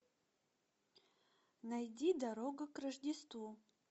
найди дорога к рождеству